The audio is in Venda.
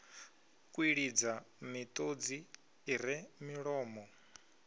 kwilidza miṱodzi i re milomo